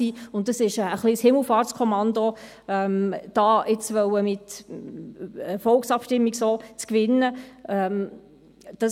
Es ist ein wenig ein Himmelfahrtskommando, auf diese Weise nun eine Volksabstimmung gewinnen zu wollen.